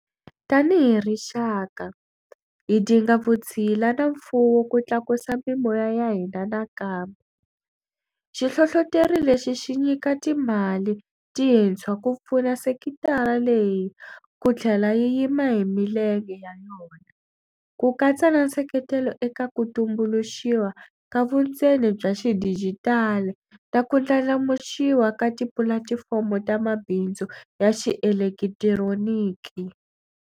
Tanihi rixaka, hi dinga vutshila na mfuwo ku tlakusa mimoya ya hina nakambe - xihlohloteri lexi xi nyika timali tintshwa ku pfuna sekitara leyi ku tlhela yi yima hi milenge ya yona, ku katsa na nseketelo eka ku tumbuluxiwa ka vundzeni bya xidijitali na ku ndlandlamuxiwa ka tipulatifomo ta mabindzu ya xielekitironiki.